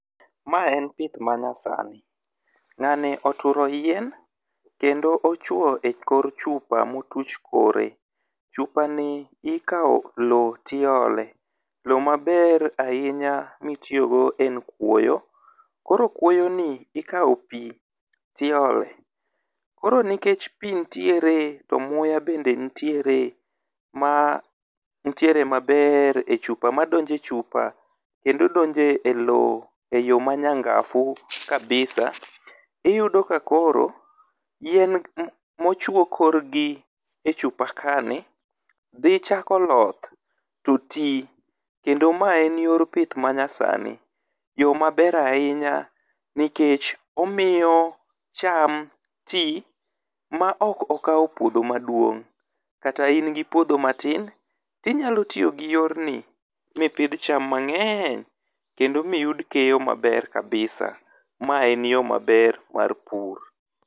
Mae en pith manyasani. Ng'ani oturo yien kendo ochwo e kor chupa motuch kore. Chupa ni ikawo lowo tiole lowo maber ahinya mitiyo go en kuoyo. Koro kuoyo ni ikawo pii tiole koro nikech pii ntiere to muya bende ntiere ma ntiere maber e chupa medonje chupa kendo donje elowo e yoo manya ngafu kabisa , iyudo ka koro yien mochwo korgi e chupa kaa ni dhi chako loth to tii kendo mae yor pith manya sani . Yoo maber ahinya nikech omiyo cham tii ma ok okawo puodho maduong' kata in gi puodho matin inyalo tiyo gi yor ni mipidh cham mang'eny kendo miyud keyo maber kabisa ma en yoo maber mar pur.